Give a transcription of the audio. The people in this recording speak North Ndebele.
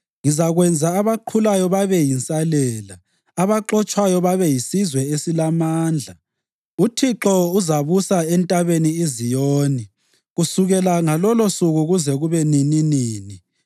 Ngizakwenza abaqhulayo babe yinsalela, abaxotshwayo babe yisizwe esilamandla. UThixo uzababusa eNtabeni iZiyoni, kusukela ngalolosuku kuze kube nininini.